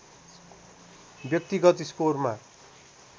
व्यक्तिगत स्कोरमा